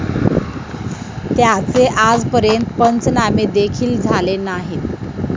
त्याचे आजपर्यंत पंचनामे देखिल झाले नाहीत.